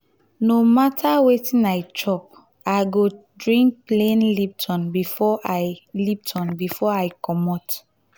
no mata wetin i chop i go drink plain lipton before i lipton before i comot.